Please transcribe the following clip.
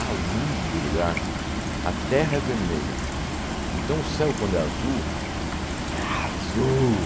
A luzes do lugar, a terra é vermelha, então o céu quando é azul, é azul.